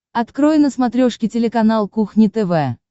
открой на смотрешке телеканал кухня тв